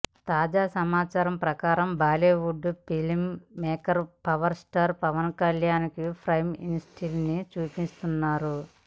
తాజా సమాచారం ప్రకారం Bollywood film maker power star Pawan Kalyan పై ఇంట్రెస్ట్ ని చూపిస్తున్నారు